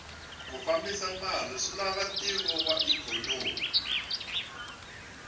ku fambisa mali swilava ntivo wa ikhonomi